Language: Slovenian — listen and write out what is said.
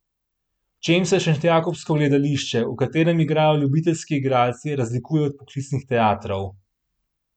V čem se Šentjakobsko gledališče, v katerem igrajo ljubiteljski igralci, razlikuje od poklicnih teatrov?